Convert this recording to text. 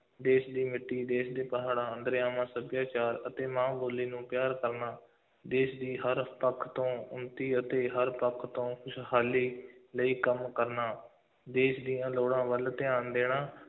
ਦੇਸ਼ ਦੀ ਮਿੱਟੀ, ਦੇਸ਼ ਦੇ ਪਹਾੜਾਂ, ਦਰਿਆਵਾਂ, ਸੱਭਿਆਚਾਰ ਅਤੇ ਮਾਂ ਬੋਲੀ ਨੂੰ ਪਿਆਰ ਕਰਨਾ, ਦੇਸ਼ ਦੀ ਹਰ ਪੱਖ ਤੋਂ ਉੱਨਤੀ ਅਤੇ ਹਰ ਪੱਖ ਤੋਂ ਖੁਸ਼ਹਾਲੀ ਲਈ ਕੰਮ ਕਰਨਾ, ਦੇਸ਼ ਦੀਆਂ ਲੋੜਾਂ ਵੱਲ ਧਿਆਨ ਦੇਣਾ,